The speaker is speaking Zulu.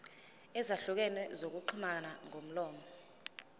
ezahlukene zokuxhumana ngomlomo